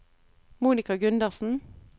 Monika Gundersen